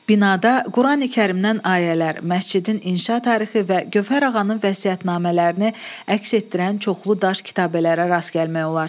Binada Qurani-Kərimdən ayələr, məscidin inşa tarixi və Gövhər ağanın vəsiyyətnamələrini əks etdirən çoxlu daş kitabələrə rast gəlmək olar.